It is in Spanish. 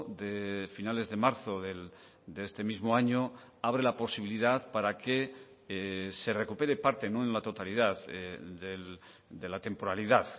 de finales de marzo de este mismo año abre la posibilidad para que se recupere parte no en la totalidad de la temporalidad